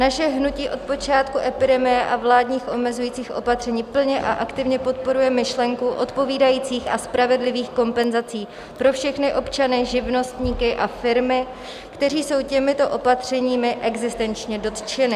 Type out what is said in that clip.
Naše hnutí od počátku epidemie a vládních omezujících opatření plně a aktivně podporuje myšlenku odpovídajících a spravedlivých kompenzací pro všechny občany, živnostníky a firmy, kteří jsou těmito opatřeními existenčně dotčeny.